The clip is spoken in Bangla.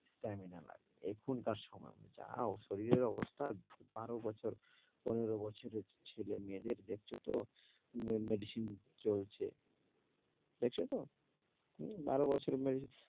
stamina লাগে এখনকার সময় অনুযায়ী। আর শরীরের অবস্থা বারো বছর পনেরো বছরের ছেলেমেয়েদের দেখছ তো m~ medicine চলছে, দেখছ তো? হম বারো বছরে,